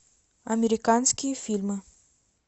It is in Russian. американские фильмы